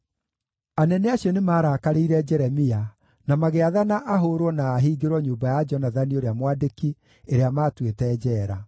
Anene acio nĩmarakarĩire Jeremia, na magĩathana ahũũrwo na ahingĩrwo nyũmba ya Jonathani ũrĩa mwandĩki, ĩrĩa maatuĩte njeera.